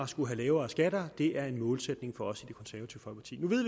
skulle have lavere skatter det er en målsætning for os